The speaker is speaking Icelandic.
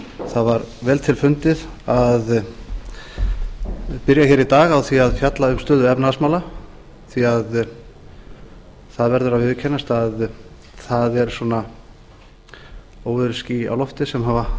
það var vel til fundið að byrja í dag að fjalla um stöðu efnahagsmála því það verður að viðurkennast að það eru óveðursský á lofti sem hafa